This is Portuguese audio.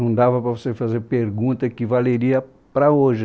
Não dava para você fazer pergunta que valeria para hoje.